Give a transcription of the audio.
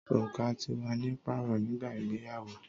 Oruka ti wa ni paarọ nigba igbeyawo